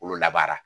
Kolo labaara